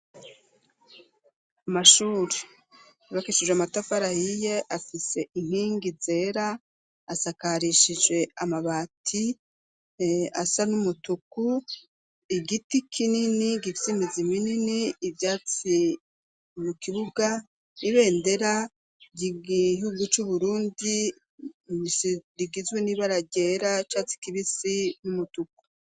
Amashuri, yubakishijwe amatafari ahiye, afise inkingi zera, asakarishije amabati asa n'umutuku, igiti kinini gifise imizi minini, ivyatsi mu kibuga, ibendera r'igihugu c'Uburundi rigizwe n'ibara ryera, c'icatsi kibisi , n'umutuku.